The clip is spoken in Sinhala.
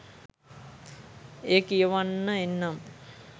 එය කියවන්න එන්නම්.